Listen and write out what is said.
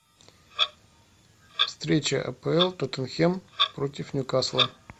встреча апл тоттенхэм против ньюкасла